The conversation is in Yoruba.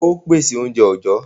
Ǹjẹ́ óò pèsè oúnjẹ òjó?